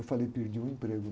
Eu falei, perdi o emprego.